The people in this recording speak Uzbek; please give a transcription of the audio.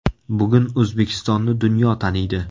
Bugun O‘zbekistonni dunyo taniydi.